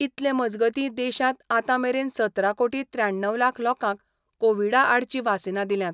इतले मजगतीं देशांत आतां मेरेन सतरा कोटी त्र्याण्णव लाख लोकांक कोवीडा आडची वासिनां दिल्यांत.